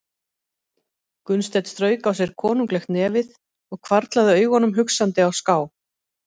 Gunnsteinn strauk á sér konunglegt nefið og hvarflaði augunum hugsandi á ská.